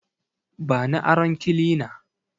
Bani aron kilina